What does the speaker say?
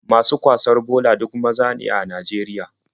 Masu kwasar bola duk maza ne a Najeriya.